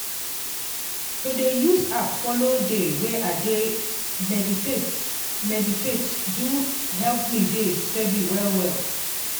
to dey use app follow dey way i dey meditate meditate do help me dey steady well well.